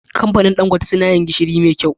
Kamfanin dan gote suna yin gishiri me kyau